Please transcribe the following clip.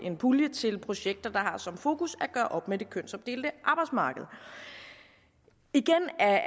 en pulje til projekter der har som fokus at gøre op med det kønsopdelte arbejdsmarked igen er